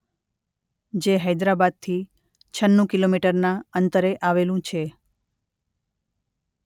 જે હૈદરાબાદથી છન્નું કિલોમીટરનાં અંતરે આવેલું છે.